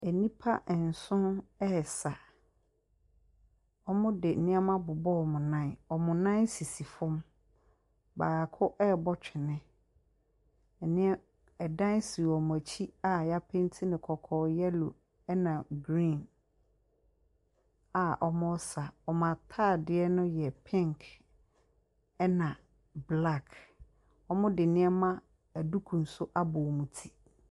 Nnipa nso resa. Wɔde nnoɔma abobɔ wɔn nnan. Wɔn nan sisi fam. Baako rebɔ twene. ℇneɛm ɛdan si wɔn akyi a yɛapenti no kɔkɔɔ, yellow ɛna green a wɔresa. Wɔn ataadeɛ no yɛ pink ɛna black. Wɔde nneɛma aduku nso abɔ wɔn ti.